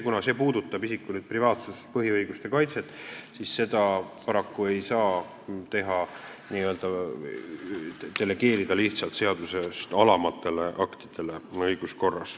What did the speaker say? Kuna see puudutab isiku põhiõiguste kaitset, siis seda paraku ei saa õiguskorras lihtsalt n-ö delegeerida seadusest alamatele aktidele.